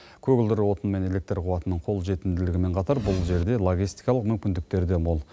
көгілдір отын мен электр қуатының қолжетімділігімен қатар бұл жерде логистикалық мүмкіндіктер де мол